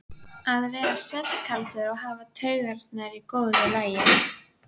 Ástríður hét önnur dóttir þeirra Bjarna og Sigurfljóðar.